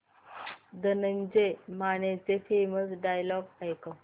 धनंजय मानेचे famous dialogue ऐकव